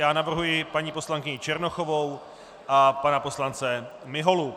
Já navrhuji paní poslankyni Černochovou a pana poslance Miholu.